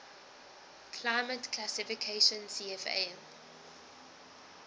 climate classification cfa